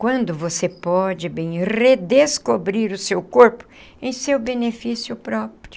Quando você pode bem redescobrir o seu corpo em seu benefício próprio.